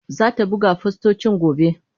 Zata buga fostocin gobe.